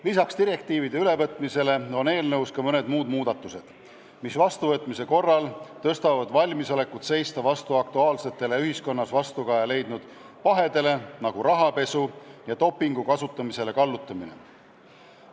Lisaks direktiivide ülevõtmisest tulenevale on eelnõus ka mõned sellised muudatused, mis vastuvõtmise korral parandavad valmisolekut seista vastu sellistele aktuaalsetele, ühiskonnas vastukaja leidnud pahedele nagu rahapesu ja dopingu kasutamisele kallutamine.